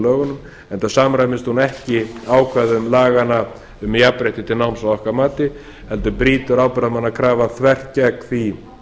lögunum enda samræmist hún ekki ákvæðum laganna um jafnrétti til náms að okkar mati heldur brýtur ábyrgðarmannakrafan þvert gegn því